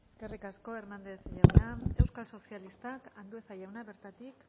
eskerrik asko hernández jauna euskal sozialistak andueza jauna bertatik